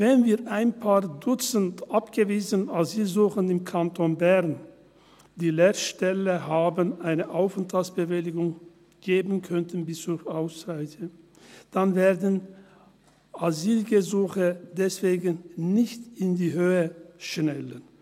Wenn wir ein paar Dutzend abgewiesene Asylsuchende im Kanton Bern, die Lehrstellen haben, die Aufenthaltsbewilligung geben könnten bis zur Ausreise, dann werden Asylgesuche deswegen nicht in die Höhe schnellen.